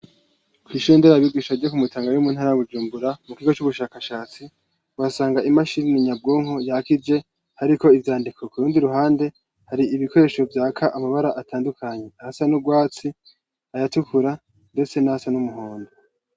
Kw'ishuri nderabigisha ryo ku Mutanga riri mu ntara ya Bujumbura mu kigo c'ubushakashatsi uhasanga imashini nyabwonko yakije hariko ivyandiko, ku rundi ruhande hari ibikoresho vyaka amabara atandukanye asa n'urwatsi, ayatukura, ndetse n'ayasa n'umuhondo.